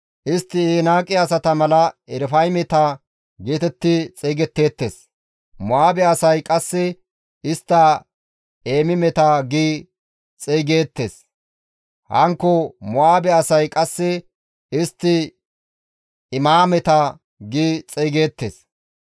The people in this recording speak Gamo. Istti Enaaqe asata mala Erafaymeta geetetti xeygetteettes; Mo7aabe asay qasse istta Eemimeta gi xeygees; hankko Mo7aabe asay qasse istti Imaameta gi xeygeettes.